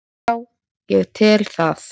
Já ég tel það.